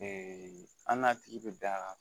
an n'a tigi bɛ da